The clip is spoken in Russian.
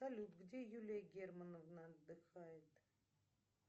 салют где юлия германовна отдыхает